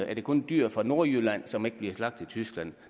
er det kun dyr fra nordjylland som ikke bliver slagtet i tyskland